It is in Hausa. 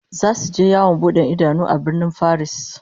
Zasu je yawon bude idanu a Birnin Faris